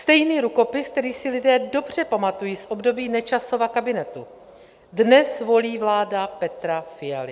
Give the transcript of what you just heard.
Stejný rukopis, který si lidé dobře pamatují z období Nečasova kabinetu, dnes volí vláda Petra Fialy.